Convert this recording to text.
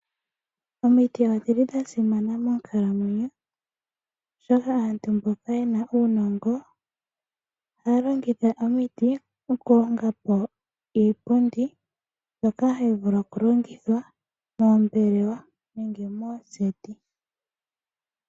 Omiti odhili dhasimana monkalamwenyo, oshoka aantu mboka yena uunongo ohaalongitha omiti, okulongapo iipundi mbyoka hayivulu okulongithwa moombelewa nenge mooseti.